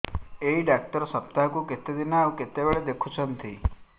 ଏଇ ଡ଼ାକ୍ତର ସପ୍ତାହକୁ କେତେଦିନ ଆଉ କେତେବେଳେ ଦେଖୁଛନ୍ତି